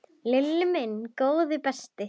Lilli minn, góði besti.